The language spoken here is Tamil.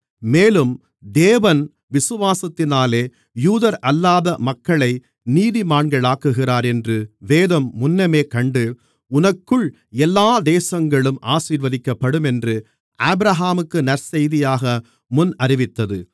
மேலும் தேவன் விசுவாசத்தினாலே யூதரல்லாத மக்களை நீதிமான்களாக்குகிறார் என்று வேதம் முன்னமே கண்டு உனக்குள் எல்லா தேசங்களும் ஆசீர்வதிக்கப்படும் என்று ஆபிரகாமுக்கு நற்செய்தியாக முன்னறிவித்தது